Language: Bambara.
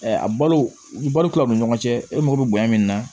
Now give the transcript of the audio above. a balo u ni balo ni ɲɔgɔn cɛ e mago bɛ bonya min na